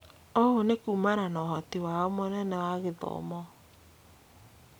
Ũũ nĩ kumana ũhoti wao mũnene wa gĩthomo